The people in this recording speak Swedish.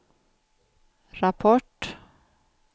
rapport